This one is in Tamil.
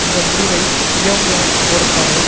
இந்த முடிவை பியாங்யாங் போருக்கான